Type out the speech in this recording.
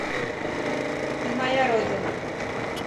ты моя родина